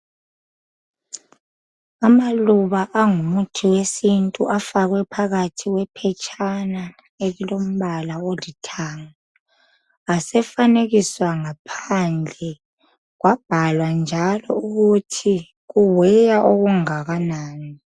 Amaluba angumuthi wesintu afakwe phakathi kwephetshana eliĺombala olithanga, asefanekiswa ngaphandle. Kwabhalwa njalo ukuthi kuweya okungakanani.